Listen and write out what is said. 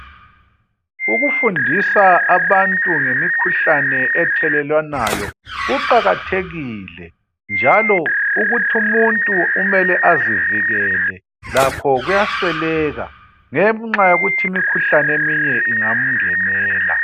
Ukufundisa abantu ngemikhuhlane ethelelwanayo kuqakathekile njalo ukuthi umuntu umele azivikele lakho kuyasweleka ngenxa yokuthi imikhuhlane eminye ingamngenela.